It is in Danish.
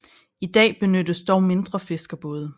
I dag benyttes dog mindre fiskerbåde